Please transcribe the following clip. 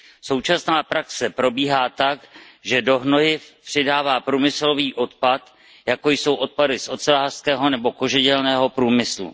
Současná praxe probíhá tak, že se do hnojiv přidává průmyslový odpad, jako jsou odpady z ocelářského nebo kožedělného průmyslu.